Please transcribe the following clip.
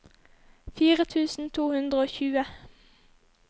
fire tusen to hundre og tjue